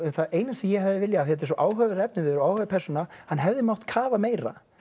það eina sem ég hefði viljað þetta er svo áhugaverður efniviður og áhugaverð persóna hann hefði mátt kafa meira